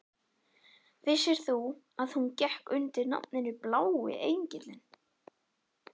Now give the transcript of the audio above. Vissir þú að hún gekk undir nafninu Blái engillinn?